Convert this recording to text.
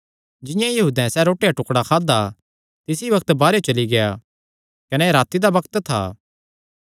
जिंआं ई यहूदैं सैह़ रोटी दा टुकड़ा खादा तिसी बग्त बाहरेयो चली गेआ कने एह़ राती दा बग्त था